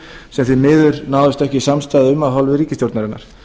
sem því miður náðist ekki samstaða um af hálfu ríkisstjórnarinnar